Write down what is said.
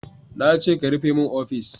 Na ce ka rufe min ofis!